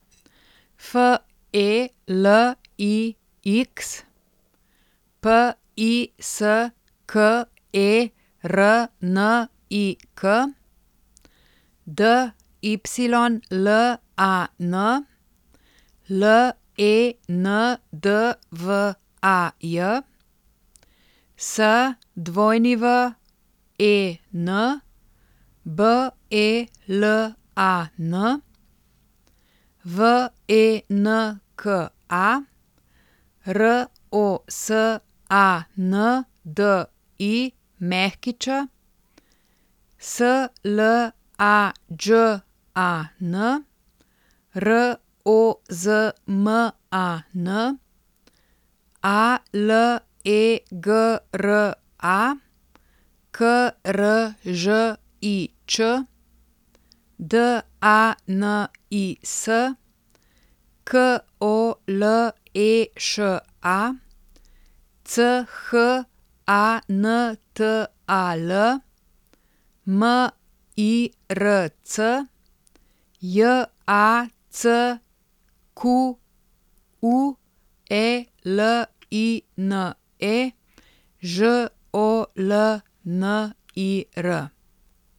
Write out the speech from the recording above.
F E L I X, P I S K E R N I K; D Y L A N, L E N D V A J; S W E N, B E L A N; V E N K A, R O S A N D I Ć; S L A Đ A N, R O Z M A N; A L E G R A, K R Ž I Č; D A N I S, K O L E Š A; C H A N T A L, M I R C; J A C Q U E L I N E, Ž O L N I R.